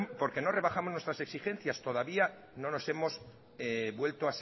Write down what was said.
porque no rebajamos nuestras exigencias todavía no nos hemos vuelto